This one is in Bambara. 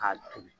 K'a turu